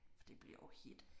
For det bliver jo hedt